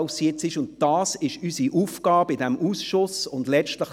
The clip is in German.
Das ist unsere Aufgabe im SAK-Ausschuss Abstimmungserläuterungen.